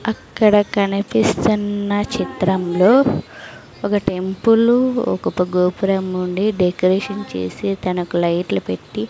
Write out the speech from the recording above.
అక్కడ కనిపిస్తున్న చిత్రంలో ఒక టెంపులు ఒక పక్క గోపురం ఉండి డెకరేషన్ చేసి దానికి లైట్లు పెట్టీ.